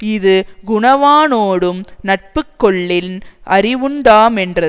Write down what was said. இது குணவானோடும் நட்புக்கொள்ளின் அறிவுண்டாமென்றது